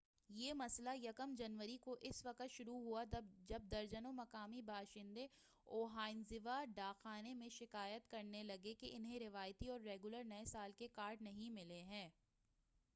یہ مسئلہ یکم 1جنوری کو اس وقت شروع ہوا جب درجنوں مقامی باشندے اوبانزاوا ڈاک خانے میں شکایت کرنے لگے کہ انہیں روایتی اور ریگولر نئے سال کے کارڈ نہیں ملے ہیں